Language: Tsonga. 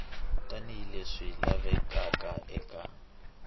tani hi leswi lavekaka eka